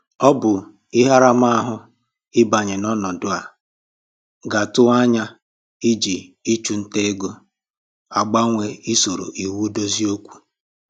Ọ bụ ihe aramahụ ịbanye n'ọnọdụ a ga-atụwa anya iji ịchụ ntà ego agbanwe isoro iwu dozie okwu